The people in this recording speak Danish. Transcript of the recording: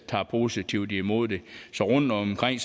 tager positivt imod det så rundtomkring